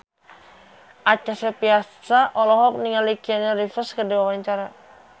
Acha Septriasa olohok ningali Keanu Reeves keur diwawancara